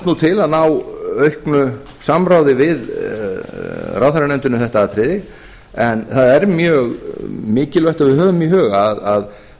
nú til að ná auknu samráði við ráðherranefndina um þetta atriði en það er mjög mikilvægt að við höfum í huga að